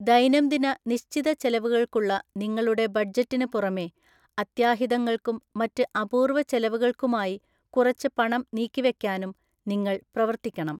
ദൈനംദിന നിശ്ചിത ചെലവുകൾക്കുള്ള നിങ്ങളുടെ ബഡ്ജറ്റിന് പുറമേ, അത്യാഹിതങ്ങൾക്കും മറ്റ് അപൂർവ ചെലവുകൾക്കുമായി കുറച്ച് പണം നീക്കിവെക്കാനും നിങ്ങൾ പ്രവർത്തിക്കണം.